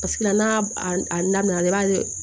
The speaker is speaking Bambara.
Paseke la n'a a na na i b'a ye